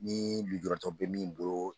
Ni lijuratɔ bɛ min bolo